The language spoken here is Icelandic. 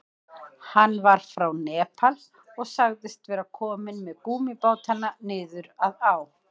Hann var frá Nepal og sagðist vera kominn með gúmmíbátana niður að á.